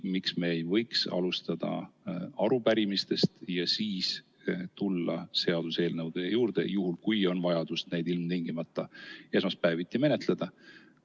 Miks me ei võiks alustada arupärimistest ja siis tulla seaduseelnõude juurde, juhul kui on vajadus neid ilmtingimata esmaspäeviti menetleda?